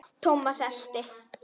Thomas elti.